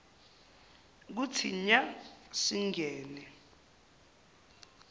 kuthi nya singene